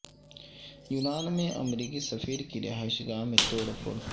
یونان میں امریکی سفیر کی رہائش گاہ میں توڑ پھوڑ